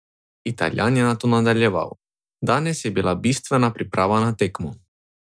Italijan je nato nadaljeval: "Danes je bila bistvena priprava na tekmo.